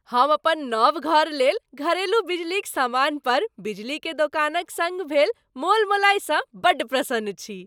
हम अपन नव घर लेल घरेलू बिजलीक समान पर बिजली के दोकानक सङ्ग भेल मोलमोलाइ सँ बड्ड प्रसन्न छी।